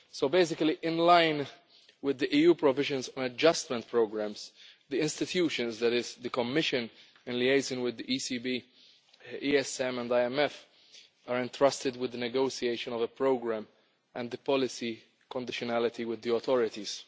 Basically, in line with the EU provisions on adjustment programmes, the institutions that is the Commission, in liaison with the ECB, ESM and IMF are entrusted with the negotiation of a programme and the policy conditionality with the authorities.